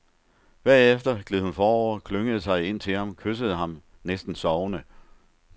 Bagefter gled hun forover, klyngede sig ind til ham, kyssede ham, næsten sovende.